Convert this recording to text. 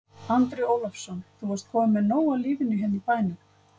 Andri Ólafsson: Þú varst kominn með nóg af lífinu hérna í bænum?